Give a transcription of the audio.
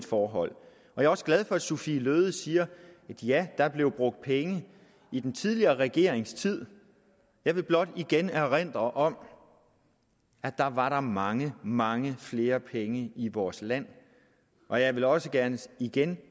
forhold jeg er også glad for at fru sophie løhde siger ja der blev brugt penge i den tidligere regerings tid jeg vil blot igen erindre om at da var der mange mange flere penge i vores land og jeg vil også gerne sige igen